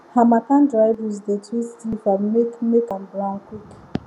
harmattan dry breeze dey twist leaf and make make am brown quick